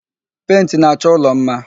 Pentị na-achọ ụlọ mma